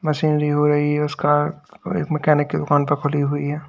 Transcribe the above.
Machinery हो रही है उसका एक मैकेनिक के दुकान पर खुली हुई है।